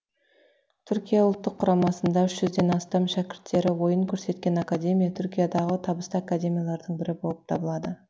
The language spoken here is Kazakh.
түркия ұлттық құрамасында үш жүзден астам шәкірттері ойын көрсеткен академия түркиядағы табысты академиялардың бірі болып табылады